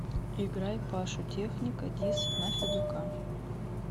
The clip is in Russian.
играй пашу техника дисс на федука